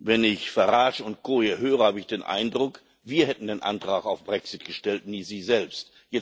Wenn ich Farage und Co. hier höre, habe ich den Eindruck, wir hätten den Antrag auf Brexit gestellt, nie sie selbst.